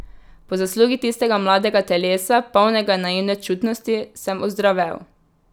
Po zaslugi tistega mladega telesa, polnega naivne čutnosti, sem ozdravel.